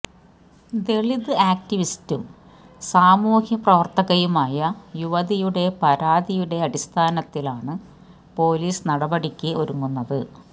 ദളിത് ആക്ടിവിസ്റ്റും സാമൂഹ്യ പ്രവര്ത്തകയുമായ യുവതിയുടെ പരാതിയുടെ അടിസ്ഥാനത്തിലാണ് പൊലീസ് നടപടിയ്ക്ക് ഒരുങ്ങുന്നത്